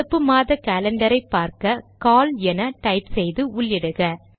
நடப்பு மாத காலண்டரை பார்க்க கால் என டைப் செய்து உள்ளிடுக